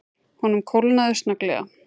Honum kólnaði snögglega.